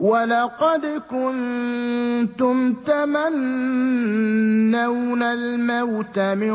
وَلَقَدْ كُنتُمْ تَمَنَّوْنَ الْمَوْتَ مِن